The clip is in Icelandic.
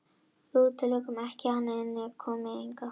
Við útilokum ekki að hann komi hingað.